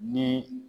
Ni